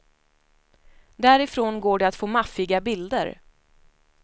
Därifrån går det att få maffiga bilder.